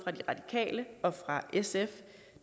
de radikale og fra sf